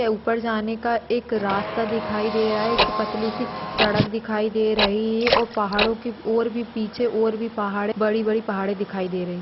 उपर जानेका एक रास्ता दिखाई दे रहा है एक पतलिसी सड़क दिखाई दे रही और पहाडो की ओर भी पीछे और भी पहाड़ बड़ी बड़ी पहाड़े दिखाई दे रही।